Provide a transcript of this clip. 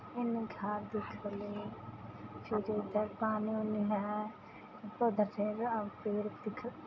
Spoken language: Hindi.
इमे घर दिखले फिर इधर पानी ओनी है ऊपर दिख --